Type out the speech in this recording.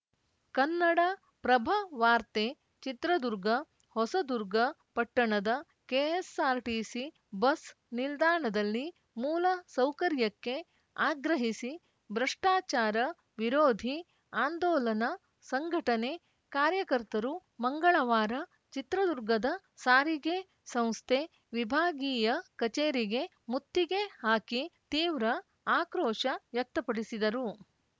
ಕನ್ನಡಪ್ರಭವಾರ್ತೆ ಚಿತ್ರದುರ್ಗ ಹೊಸದುರ್ಗ ಪಟ್ಟಣದ KSRTC bus ನಿಲ್ದಾಣದಲ್ಲಿ ಮೂಲ ಸೌಕರ್ಯಕ್ಕೆ ಆಗ್ರಹಿಸಿ ಭ್ರಷ್ಟಾಚಾರ ವಿರೋಧಿ ಆಂದೋಲನ ಸಂಘಟನೆ ಕಾರ್ಯಕರ್ತರು ಮಂಗಳವಾರ ಚಿತ್ರದುರ್ಗದ ಸಾರಿಗೆ ಸಂಸ್ಥೆ ವಿಭಾಗೀಯ ಕಚೇರಿಗೆ ಮುತ್ತಿಗೆ ಹಾಕಿ ತೀವ್ರ ಆಕ್ರೋಶ ವ್ಯಕ್ತಪಡಿಸಿದರು